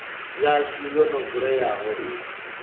yashu yo no vuleyaho i